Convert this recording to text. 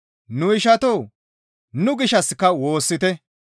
Nu ishatoo! Nu gishshassika woossite.